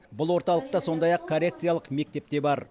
бұл орталықта сондай ақ коррекциялық мектеп те бар